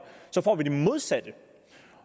får vi det modsatte